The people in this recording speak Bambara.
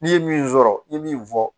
N'i ye min sɔrɔ i ye min fɔ